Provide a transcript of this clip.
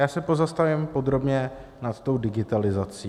Já se pozastavím podrobně nad tou digitalizací.